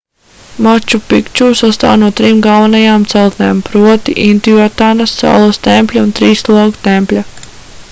maču pikču sastāv no trim galvenajām celtnēm proti intiuatanas saules tempļa un trīs logu tempļa